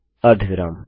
अर्धविराम